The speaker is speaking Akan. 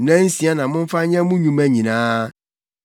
Nnansia na momfa nyɛ mo nnwuma nyinaa,